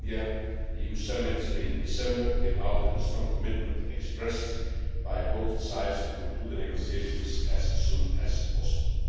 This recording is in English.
The India EU Summit in December came out with a strong commitment expressed by both sides to conclude the negotiations as soon as possible.